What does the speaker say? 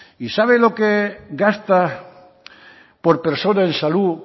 y sabe lo que gastó por persona en salud